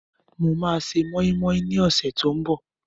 Mo máa se mọ́ínmọ́ín ní ọ̀sẹ̀ tí ó ń bọ̀